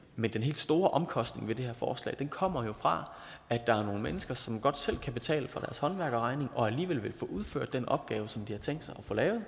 men den helt store omkostning ved det her forslag kommer jo fra at der er nogle mennesker som godt selv kan betale for håndværkerregning og alligevel vil få udført den opgave som de har tænkt sig at få lavet